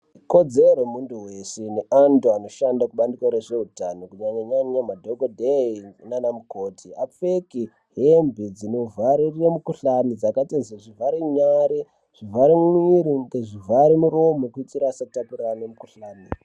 Kodzero yemuntu wese neantu anoshanda kubare kwezveutano kunyanya nyanya madhokoteya nanamukoti apfeke hembe dzinovharire mukohlani dzakaita sedzezvivare nyari , zvivare mwiri , zvivare muromo , kuitira satakurana nemukohlani